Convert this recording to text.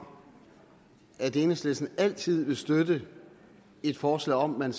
om at enhedslisten altid vil støtte et forslag om at